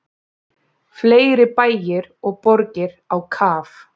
Fleiri bæir og borgir á kaf